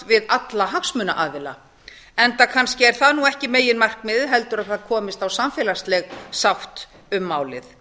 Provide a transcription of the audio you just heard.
við alla hagsmunaaðila enda kannski er það nú ekki meginmarkmiðið heldur að það komist á samfélagsleg sátt um málið